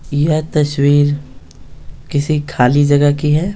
यह तस्वीर किसी खाली जगह की है।